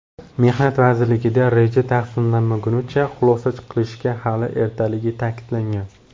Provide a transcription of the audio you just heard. Mehnat vazirligida reja tasdiqlanmaguncha xulosa qilishga hali ertaligi ta’kidlangan.